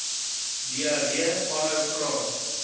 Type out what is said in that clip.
diarree aanhou vra